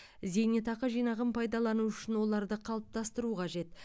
зейнетақы жинағын пайдалану үшін оларды қалыптастыру қажет